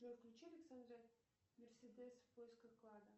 джой включи александра мерседес в поисках клада